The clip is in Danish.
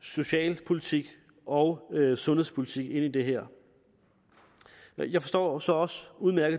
socialpolitik og sundhedspolitik ind i det her jeg forstår så også udmærket